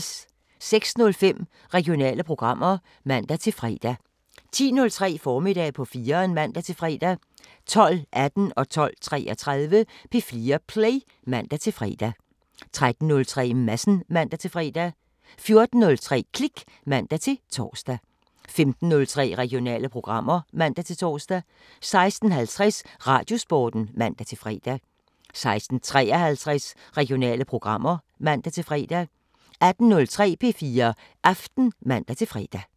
06:05: Regionale programmer (man-fre) 10:03: Formiddag på 4'eren (man-fre) 12:18: P4 Play (man-fre) 12:33: P4 Play (man-fre) 13:03: Madsen (man-fre) 14:03: Klik (man-tor) 15:03: Regionale programmer (man-tor) 16:50: Radiosporten (man-fre) 16:53: Regionale programmer (man-fre) 18:03: P4 Aften (man-fre)